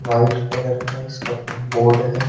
White colour का इसका है।